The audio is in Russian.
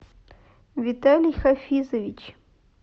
виталий хафизович